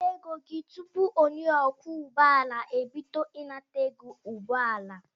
Weta ego gị tụpụ onye ọkwọ ụgbọala ebido ịnata ego ụgbọala